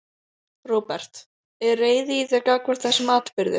Róbert: Er reiði í þér gagnvart þessum atburði?